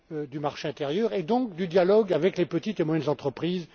du marché intérieur et donc du dialogue avec les petites et moyennes entreprises.